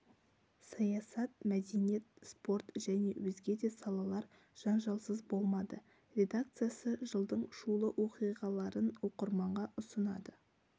саясат мәдениет спорт және өзге де салалар жанжалсыз болмады редакциясы жылдың шулы оқиғаларын оқырманға ұсынады